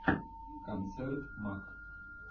концерт мак